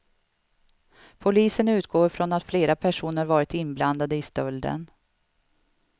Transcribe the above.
Polisen utgår från att fler personer varit inblandade i stölden.